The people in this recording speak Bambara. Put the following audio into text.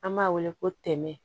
An b'a wele ko tɛmɛ